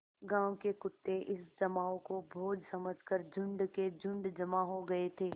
गाँव के कुत्ते इस जमाव को भोज समझ कर झुंड के झुंड जमा हो गये थे